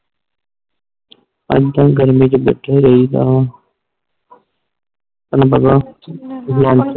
ਤਾਹਿ ਤਾ ਗਰਮੀ ਚ ਬੈਠੇ ਰਹੀ ਦਾ ਤੈਨੂੰ ਪਤਾ ਆ